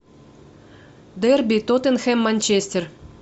дерби тоттенхэм манчестер